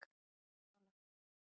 Varmalandsskóla